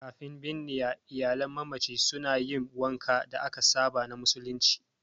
Kafin binniya, iyalan mamaci suna yin wankan da aka saba na musulunci.